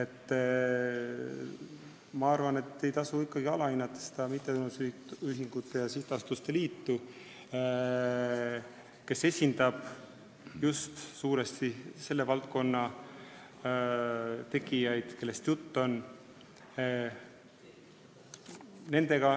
Ma arvan, et ei tasu ikkagi alahinnata mittetulundusühingute ja sihtasutuste liitu, kes suuresti esindab selle valdkonna tegijaid, millest juttu on.